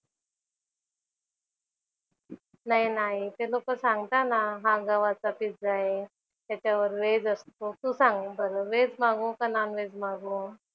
नाही ना आई. ते लोकं सांगतात ना हा गव्हाचा पिझ्झा आहे. त्याच्यावर व्हेज असतो. तू सांग बरं व्हेज मागवू की नॉन-व्हेज मागवू?